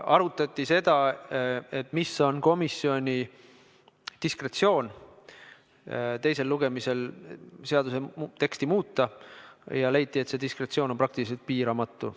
Arutati seda, milline on komisjoni diskretsioon teisel lugemisel seaduseelnõu teksti muuta, ja leiti, et see diskretsioon on praktiliselt piiramatu.